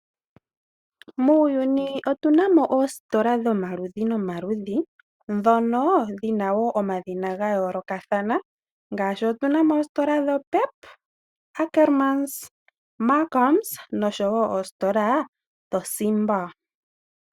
Moshilongo otunamo oositola odhindji Pep, Ackerman, Markhams oshowo oongeshefa dho Simba.